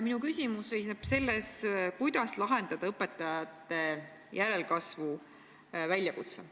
Minu küsimus seisneb selles, kuidas lahendada õpetajate järelkasvu väljakutse.